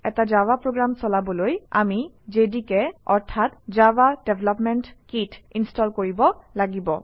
এটা Java program চলাবলৈ আমি জেডিকে অৰ্থাৎ জাভা ডেভেলপমেণ্ট কিট ইনষ্টল কৰিব লাগিব